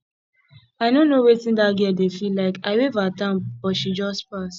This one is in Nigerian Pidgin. i no know wetin dat girl dey dey feel like i wave at am but she just pass